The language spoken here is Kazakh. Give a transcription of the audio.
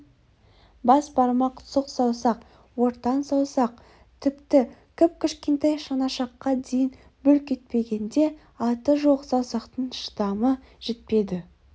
бас бармақ сұқ саусақ ортан саусақ тіпті кіп-кішкентай шынашаққа дейін бүлк етпегенде аты жоқ саусақтың шыдамы жетпеді